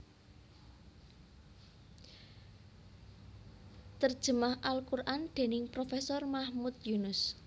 Terjemah al Quran dening Profesor Mahmud Yunus